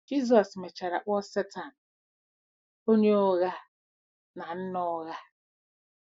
Jizọs mechara kpọọ Setan “onye ụgha na nna ụgha.”